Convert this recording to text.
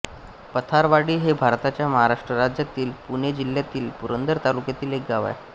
पथारवाडी हे भारताच्या महाराष्ट्र राज्यातील पुणे जिल्ह्यातील पुरंदर तालुक्यातील एक गाव आहे